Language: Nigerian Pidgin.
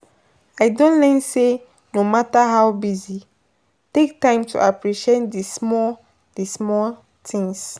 I don learn say no matter how busy, take time to appreciate di small di small things.